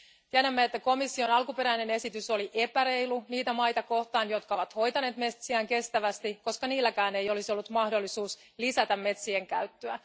Tiedämme, että komission alkuperäinen esitys oli epäreilu niitä maita kohtaan, jotka ovat hoitaneet metsiään kestävästi, koska niilläkään ei olisi ollut mahdollisuutta lisätä metsien käyttöä.